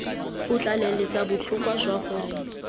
o tlaleletsa botlhokwa jwa gore